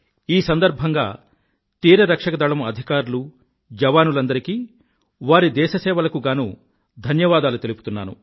ఈ సందర్భంగా తీరరక్షక దళం అధికారులూ జవానులందరికీ వారి దేశసేవలకు గానూ ధన్యవాదాలు తెలుపుతున్నాను